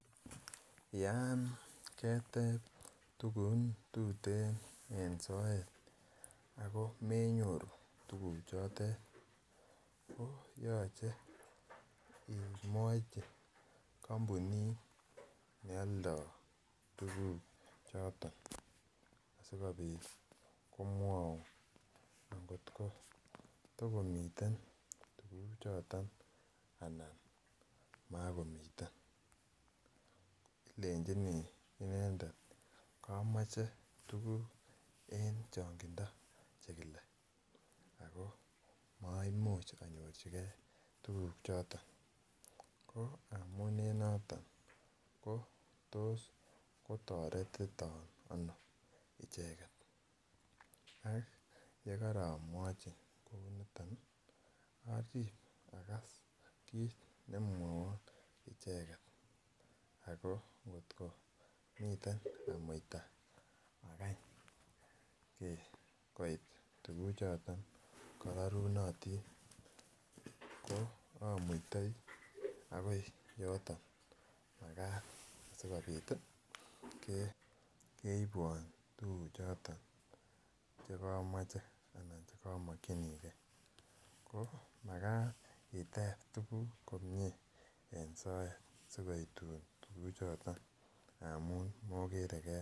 Yon keteben chi tugun tuten en soet ago menyoru tuguchoto ko yoche imwochi kampunit ne aldo tuguchoto asikobit komwaun angot ko ta komiten tuguchoto anan magomiten ilenjini inendet kamoche tuguk Che kile en changindo koimuch konyorchigei tuguchoto ko amun en noto ko tos ko toretiton ano icheget yekoromwochi icheget arib agas kit nemwowon icheget ako miten amuita agany koit tuguchoto rorunotin amuitoi ak koit yoton asikobit keibwon tuguchoto Che komoche anan cheko mokyinigei anan Magat iteb tuguk komie en soet asi koitun tuguchoto amun mokere